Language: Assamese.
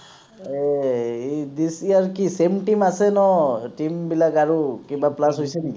এৰ ই this year কি same team আছে ন team বিলাক আৰু কিবা plus হৈছে নিকি